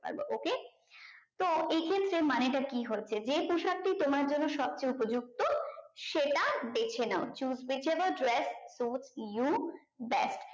করতে পারবো okay তো এই ক্ষেত্রে মানেটা কি হচ্ছে যেহেতু সবটি তোমার জন্য সবচেয়ে উপযুক্ত সেটা বেছে নাও choose whichever dress choose you best